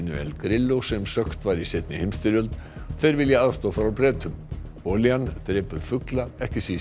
El Grillo sem sökkt var í seinni heimsstyrjöld og vilja aðstoð frá Bretum olían drepur fugla ekki síst